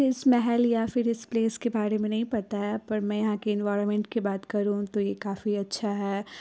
इस महल या फिर इस प्लेस के बारे में नहीं पता है पर मै यहाँ के एनवायरमेंट के बात करू तो ये काफी अच्छा है।